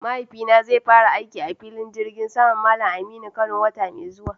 Mahaifina zai fara aiki a filin jirgi saman Mallam Aminu Kano wata mai zuwa.